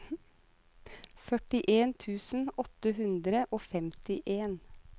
førtien tusen åtte hundre og femtien